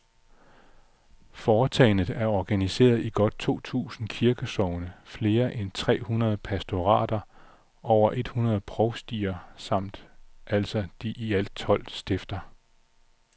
Foretagendet er organiseret i godt to tusind kirkesogne, flere end et tre hundrede pastorater, over et hundrede provstier samt altså de i alt tolv stifter.